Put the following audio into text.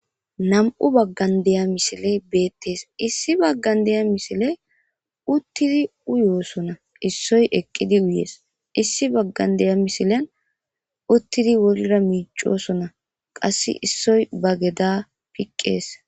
Na'mu bagan day misiley betes issi bagan day misiley utidi uyosona issoy eqidi mess issi bagan day misilayn utidi wolira micishe mosona qas issoy bageda fiqes